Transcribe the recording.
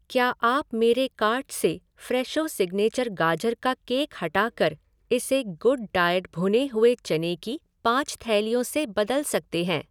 क्या आप मेरे कार्ट से फ़्रेशो सिग्नेचर गाजर का केक हटाकर इसे गुडडाएट भुने हुए चने की पाँच थैलियों से बदल सकते हैं